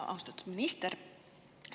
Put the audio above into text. Austatud minister!